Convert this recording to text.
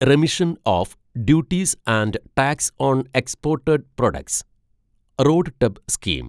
remission of duties and tax on exported products RoDTEP scheme